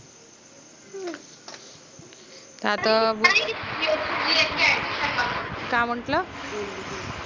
आता का म्हंणटल?